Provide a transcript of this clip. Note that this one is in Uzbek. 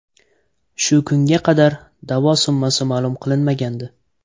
Shu kunga qadar da’vo summasi ma’lum qilinmagandi.